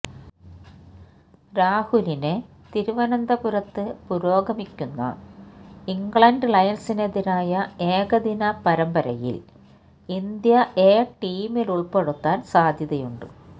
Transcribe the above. രാഹുലിനെ തിരുവനന്തപുരത്ത് പുരോഗമിക്കുന്ന ഇംഗ്ലണ്ട് ലയണ്സിനെതിരായ ഏകദിന പരമ്പരയില് ഇന്ത്യ എ ടീമിലുള്പെടുത്താന് സാധ്യതയുണ്ട്